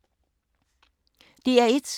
DR1